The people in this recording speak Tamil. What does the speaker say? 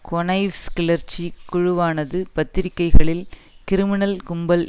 கொனய்வ்ஸ் கிளர்ச்சி குழுவானது பத்திரிகைகளில் கிரிமினல் கும்பல்